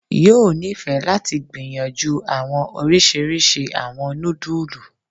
yoo nifẹ lati gbiyanju awọn oriṣiriṣi awọn nudulu.